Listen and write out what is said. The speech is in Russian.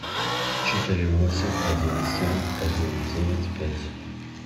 четыре восемь один семь один девять пять